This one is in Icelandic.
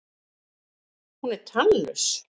Hún er tannlaus.